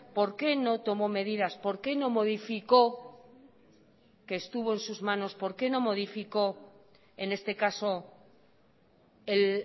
por qué no tomo medidas por qué no modificó que estuvo en sus manos por qué no modificó en este caso el